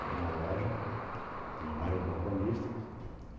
Era uma loja, tinha vários balconistas.